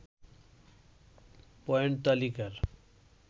point তালিকার